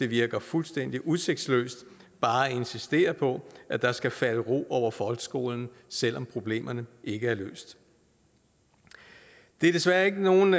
virker fuldstændig udsigtsløst bare at insistere på at der skal falde ro over folkeskolen selv om problemerne ikke er løst det er desværre ikke nogen